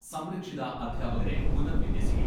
സംരക്ഷിത അധ്യാപകരെ പുനർവിന്യസിക്കും.